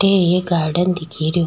अठे एक गार्डन